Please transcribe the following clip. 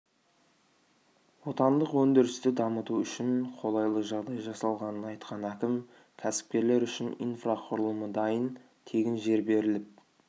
отандық өндірісті дамыту үшін қолайлы жағдай жасалғанын айтқан әкім кәсіпкерлер үшін инфрақұрылымы дайын тегін жер беріліп